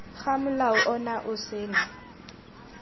ga molao ono o sena